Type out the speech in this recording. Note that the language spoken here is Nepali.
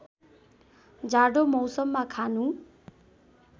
जाडो मौसममा खानु